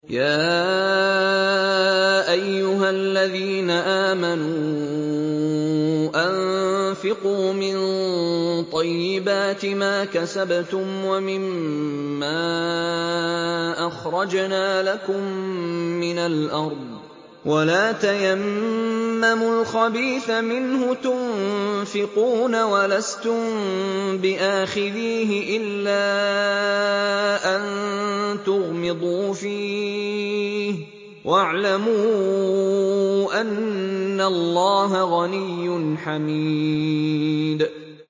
يَا أَيُّهَا الَّذِينَ آمَنُوا أَنفِقُوا مِن طَيِّبَاتِ مَا كَسَبْتُمْ وَمِمَّا أَخْرَجْنَا لَكُم مِّنَ الْأَرْضِ ۖ وَلَا تَيَمَّمُوا الْخَبِيثَ مِنْهُ تُنفِقُونَ وَلَسْتُم بِآخِذِيهِ إِلَّا أَن تُغْمِضُوا فِيهِ ۚ وَاعْلَمُوا أَنَّ اللَّهَ غَنِيٌّ حَمِيدٌ